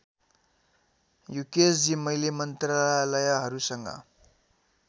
युकेशजी मैले मन्त्रालयहरूसँग